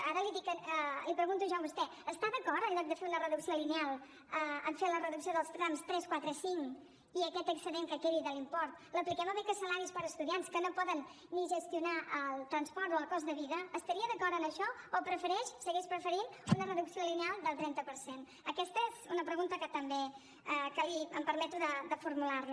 ara l’hi pregunto jo a vostè està d’acord en lloc de fer una reducció lineal en fer la reducció dels trams tres quatre i cinc i aquest excedent que quedi de l’import l’apliquem a beques salaris per a estudiants que no poden ni gestionar el transport o el cost de vida estaria d’acord en això o prefereix segueix preferint una reducció lineal del trenta per cent aquesta és una pregunta que em permeto de formular li